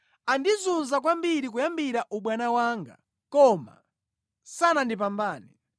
“Andizunza kwambiri kuyambira ubwana wanga, koma sanandipambane.